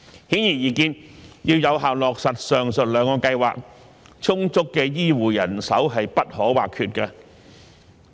顯而易見，要有效落實上述兩個計劃，充足的醫護人手不可或缺。